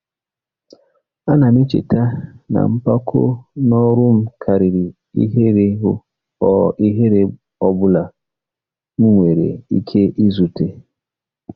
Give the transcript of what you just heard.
Ana m echeta na mpako n'ọrụ m karịrị ihere ọ ihere ọ bụla m nwere ike izute.